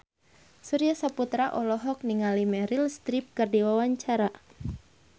Surya Saputra olohok ningali Meryl Streep keur diwawancara